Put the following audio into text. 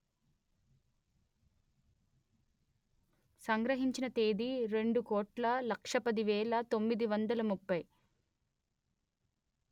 సంగ్రహించిన తేదీ రెండు కోట్ల లక్ష పది వేల తొమ్మిది వందలు ముప్పై